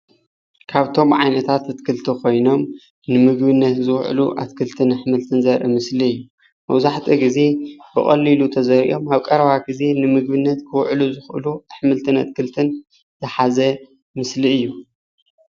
ካብቶም ዓይነታታት ኣትክልቲ ኾይኖም ንምግብነት ዝውዕሉ ኣሕምልትን ኣትክልትን ዘርኢ ምስሊ እዩ። መብዛሕትኡ ግዘ ብቀሊሉ ተዘሪኦም ኣብ ቀረባ ግዜ ንምግብነት ክውዕሉ ዝኽእሉ ኣሕምልትን ኣትክልትን ዝሓዘ ምስሊ እዩ።